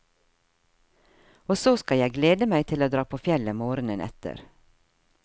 Og så skal jeg glede meg til å dra på fjellet morgenen etter.